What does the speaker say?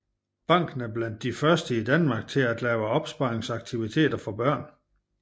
Banken er blandt de første i Danmark til at lave opsparingsaktiviteter til børn